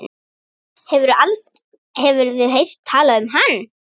Hefurðu heyrt talað um hann?